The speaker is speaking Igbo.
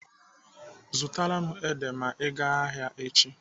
Zụtara m ede ma ị gaa ahịa echi.